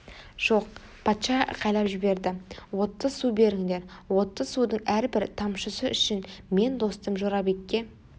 жоқ патша айқайлап жіберді отты су беріңдер отты судың әрбір тамшысы үшін мен достым жорабекке